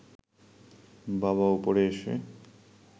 বাবা ওপরে এসে